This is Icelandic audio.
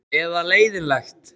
Eða leiðinlegt?